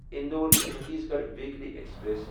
Indore Chandigarh weekly express